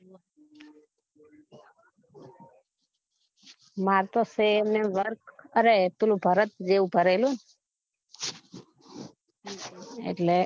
મારે તો સે ને એક વરખ અરે પીલા ભરત જેવું ભરે લુ ને એટલે